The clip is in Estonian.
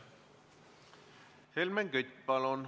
Helmen Kütt, palun!